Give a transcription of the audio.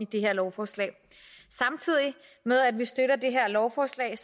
det her lovforslag samtidig med at vi støtter det her lovforslag